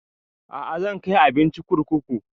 A'a zan kai abincin kurkuku